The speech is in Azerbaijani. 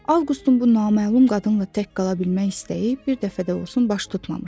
Avqustun bu naməlum qadınla tək qala bilmək istəyi bir dəfə də olsun baş tutmamışdı.